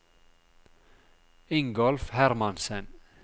Ingolf Hermansen